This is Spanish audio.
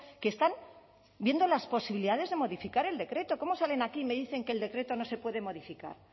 que están viendo las posibilidades de modificar el decreto cómo salen aquí y me dicen que el decreto no se puede modificar